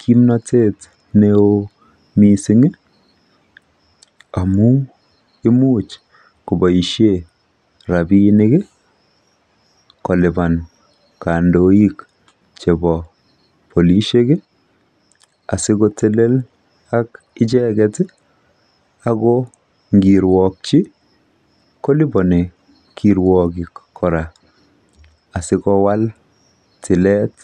kimnotet neo misingi amun imuch koboishen rapinik kolipan kandoik chebo polisheki asikotelelakicheketi Ako ngirwokyi koliponi kirwokik kora asikowal tilet